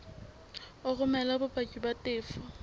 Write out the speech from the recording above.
o romele bopaki ba tefo